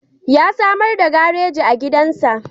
Ya samar da gareji a gidansa.